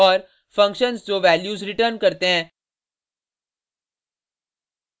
functions जो values return करते हैं